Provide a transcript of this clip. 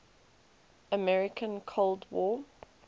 american cold war